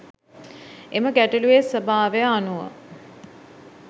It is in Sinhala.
එම ගැටලුවේ ස්වභාවය අනුව